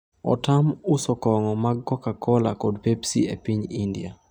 Otam uso kong'o mag coca-cola kod pepsi e piny India